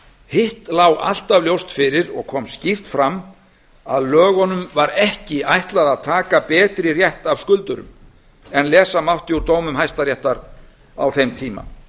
hitt lá alltaf ljóst fyrir og kom skýrt fram að lögunum var ekki ætlað að taka betri rétt af skuldurum en lesa mátti úr dómum hæstaréttar á þeim tíma